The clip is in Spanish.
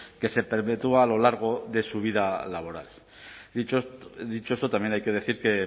que se perpetúa a lo largo de su vida laboral dicho esto también hay que decir que